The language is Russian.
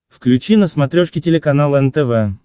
включи на смотрешке телеканал нтв